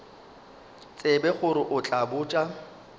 tsebe gore o tla botša